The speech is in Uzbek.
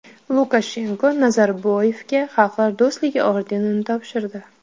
Lukashenko Nazarboyevga Xalqlar do‘stligi ordenini topshirdi.